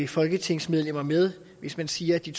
folketingsmedlemmer med hvis man siger at de